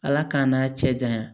Ala k'an n'a cɛ janya